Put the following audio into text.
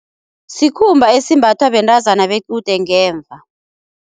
Sikhumba esimbathwa bentazana bequde ngemva.